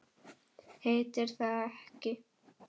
Heitir það ekki